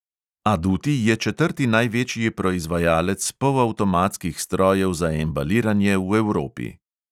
Aduti je četrti največji proizvajalec polavtomatskih strojev za embaliranje v evropi.